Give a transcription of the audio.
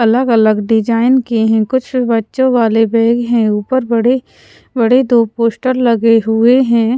अलग अलग डिजाइन के हैं कुछ बच्चों वाले बैग हैं ऊपर बड़े बड़े दो पोस्टर लगे हुए हैं।